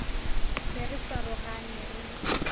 be re sa rogane re